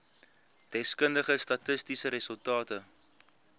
deskundige statistiese resultate